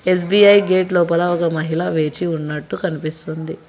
SBI gate లోపలా ఒక మహిళ వేచి ఉన్నట్టు కనిపిస్తుంది.